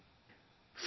Friends,